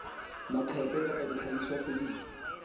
maqephe kapa dihlahiswa tse ding